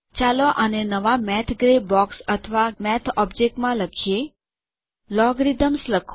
ચાલો આને નવાં મેથ ગ્રે બોક્સ ગાણિતિક ભૂખરાં બોક્સ અથવાં મેથ ઓબ્જેક્ટમાં લખીએ